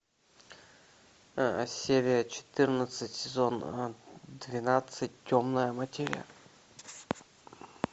серия четырнадцать сезон двенадцать темная материя